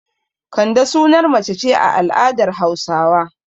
Kande sunar mace ce a al'adar Hausawa.